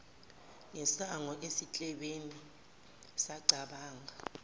ngesango esiklebheni sacabanga